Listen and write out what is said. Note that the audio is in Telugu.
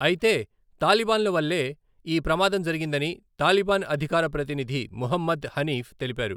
అయితే, తాలిబాన్ల వల్లే ఈ ప్రమాదం జరిగిందని తాలిబాన్ అధికార ప్రతినిధి ముహమ్మద్ హనీఫ్ తెలిపారు.